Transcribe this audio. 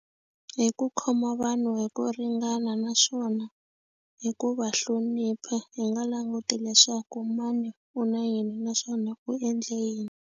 Hi ku khoma vanhu hi ku ringana naswona hi ku va hlonipha hi nga languti leswaku mani u na yini naswona u endle yini.